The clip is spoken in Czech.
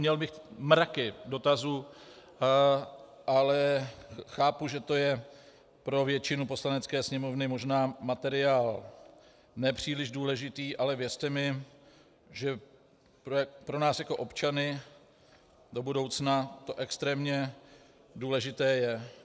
Měl bych mraky dotazů, ale chápu, že to je pro většinu Poslanecké sněmovny možná materiál nepříliš důležitý, ale věřte mi, že pro nás jako občany do budoucna to extrémně důležité je.